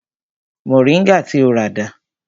Moringa ti o rà dà?